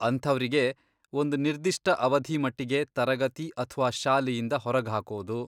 ಅಂಥವ್ರಿಗೆ ಒಂದ್ ನಿರ್ದಿಷ್ಟ ಅವಧಿ ಮಟ್ಟಿಗೆ ತರಗತಿ ಅಥ್ವಾ ಶಾಲೆಯಿಂದ ಹೊರಗ್ಹಾಕೋದು.